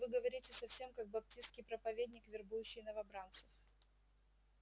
вы говорите совсем как баптистский проповедник вербующий новобранцев